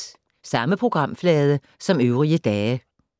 Samme programflade som øvrige dage